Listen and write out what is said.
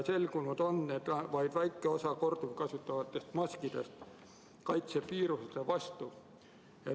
Selgunud on, et vaid väike osa korduvkasutatavatest maskidest kaitseb viiruste eest.